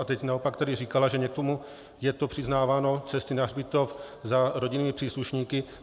A teď naopak tady říkala, že někomu je to přiznáváno - cesty na hřbitov, za rodinnými příslušníky.